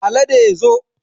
Alade zo